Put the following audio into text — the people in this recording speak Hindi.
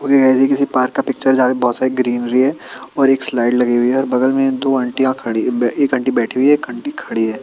मुझे ऐसी किसी पार्क का पिक्चर है जहां पे ग्रीनरी है और एक स्लाइड लगी हुई है और बगल में दो आंटिया खड़ी हुई बे एक आंटी बैठी हुई है एक आंटी खड़ी है।